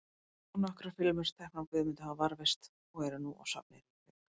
Nokkrar filmur, teknar af Guðmundi, hafa varðveist og eru nú á safni í Reykjavík.